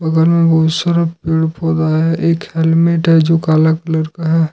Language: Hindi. बगल में बहुत सारा पेड़-पौधा है एक हेलमेट है जो काला कलर का है।